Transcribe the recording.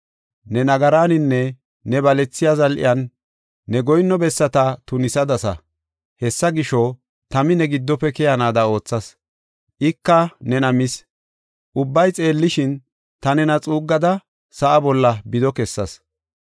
Ne nagaraninne ne balethiya zal7iyan, ne goyinno bessata tunisadasa. Hessa gisho, tami ne giddofe keyanaada oothas; ika nena mis. Ubbay xeellishin, ta nena xuuggada sa7aa bolla bido kessas.